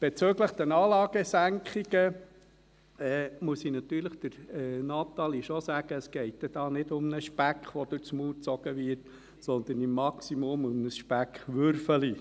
Bezüglich der Anlagesenkungen muss ich natürlich Natalie Imboden schon sagen, dass es hier nicht um Speck geht, der durch den Mund gezogen wird, sondern im Maximum um ein Speckwürfelchen.